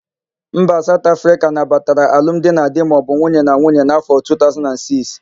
Mba Saut Afrịka nabatara alum di na di maọbụ nwunye na nwunye n'áfọ̀ 2006.